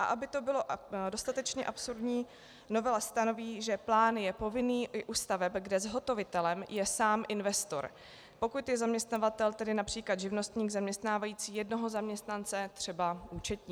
A aby to bylo dostatečně absurdní, novela stanoví, že plán je povinný i u staveb, kde zhotovitelem je sám investor, pokud je zaměstnavatel, tedy například živnostník zaměstnávající jednoho zaměstnance, třeba účetní.